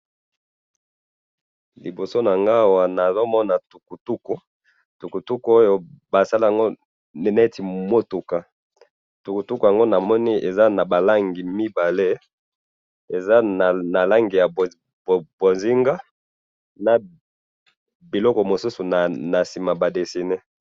Liboso nanga awa nazomona tukutuku, tukutuku oyo basali yango neti mutuka, tukutuku yango namoni aze nabalangi mibale, eza nalangi ya bonzinga, na biloko mosusu nasima badesiné